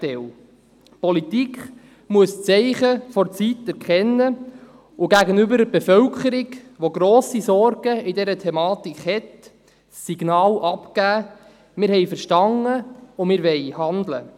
Die Politik muss die Zeichen der Zeit erkennen und gegenüber der Bevölkerung, die bezüglich dieser Thematik grosse Sorgen hat, Signale aussenden im Sinne von: Wir haben verstanden, und wir wollen handeln.